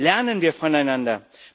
Lernen wir voneinander!